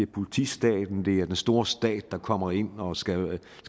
politistaten det er den store stat der kommer ind og skal